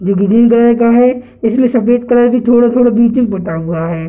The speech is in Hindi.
जो ग्रीन कलर का है इसमें सफ़ेद कलर का थोड़ा थोड़ा बीच बंटा हुआ है।